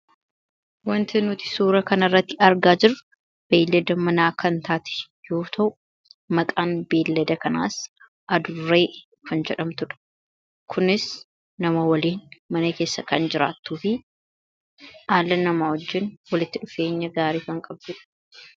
wanti nuti suura kana irratti argaa jirra beeleda manaa kan taati yuu ta'u maqaan beeleda kanaas aduree kan jedhamtudha kunis nama waliin mana keessa kan jiraattuu fi haala namaa wajjin walitti dhufeenya gaarii kan qabbuudha.